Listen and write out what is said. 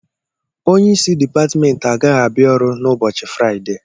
Onye isi Dipatmentị agaghị abịa ọrụ na ụbọchị Fraịde